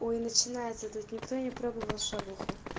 ой начинается тут никто не пробовал шавуху